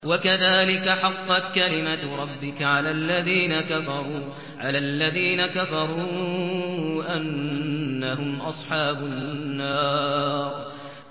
وَكَذَٰلِكَ حَقَّتْ كَلِمَتُ رَبِّكَ عَلَى الَّذِينَ كَفَرُوا أَنَّهُمْ أَصْحَابُ النَّارِ